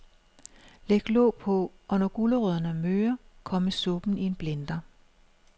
Læg låg på, og når gulerødderne er møre, kommes suppen i en blender.